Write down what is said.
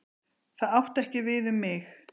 Það átti ekki við um mig.